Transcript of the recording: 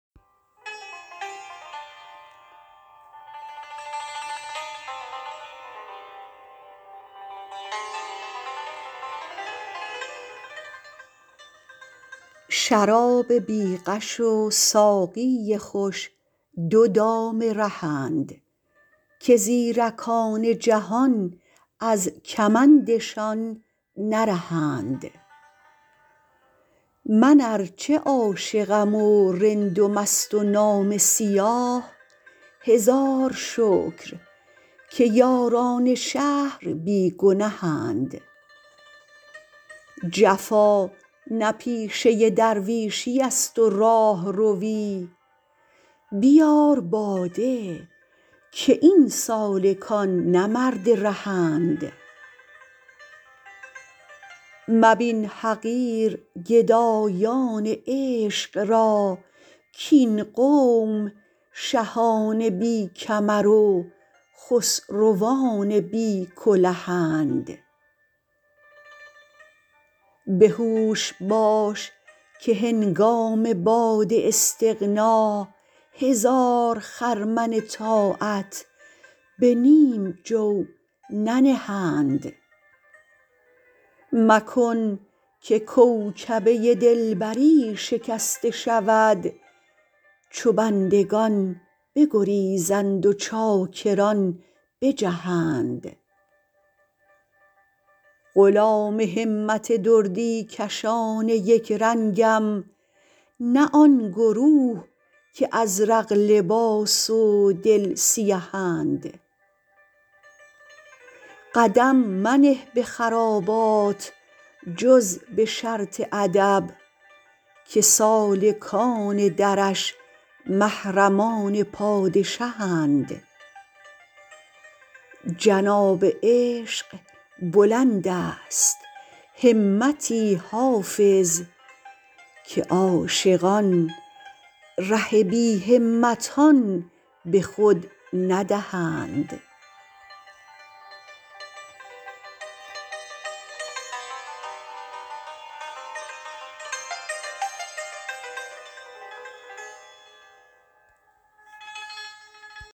شراب بی غش و ساقی خوش دو دام رهند که زیرکان جهان از کمندشان نرهند من ار چه عاشقم و رند و مست و نامه سیاه هزار شکر که یاران شهر بی گنهند جفا نه پیشه درویشیست و راهروی بیار باده که این سالکان نه مرد رهند مبین حقیر گدایان عشق را کاین قوم شهان بی کمر و خسروان بی کلهند به هوش باش که هنگام باد استغنا هزار خرمن طاعت به نیم جو ننهند مکن که کوکبه دلبری شکسته شود چو بندگان بگریزند و چاکران بجهند غلام همت دردی کشان یک رنگم نه آن گروه که ازرق لباس و دل سیهند قدم منه به خرابات جز به شرط ادب که سالکان درش محرمان پادشهند جناب عشق بلند است همتی حافظ که عاشقان ره بی همتان به خود ندهند